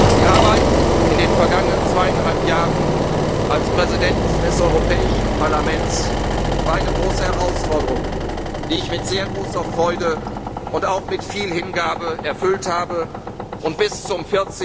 aufbauen. Die Arbeit in den vergangenen zweieinhalb Jahren als Präsident des Europäischen Parlaments war eine große Herausforderung, die ich mit sehr großer Freude und auch mit viel Hingabe erfüllt habe und